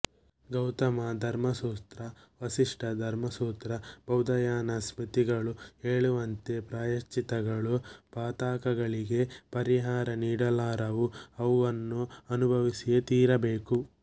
ಗೌತಮ ಧರ್ಮಸೂತ್ರ ವಸಿಷ್ಠ ಧರ್ಮಸೂತ್ರ ಬೌಧಾಯನ ಸ್ಮೃತಿಗಳು ಹೇಳುವಂತೆ ಪ್ರಾಯಶ್ಚಿತ್ತಗಳು ಪಾತಕಗಳಿಗೆ ಪರಿಹಾರ ನೀಡಲಾರವು ಅವನ್ನು ಅನುಭವಿಸಿಯೇ ತೀರಬೇಕು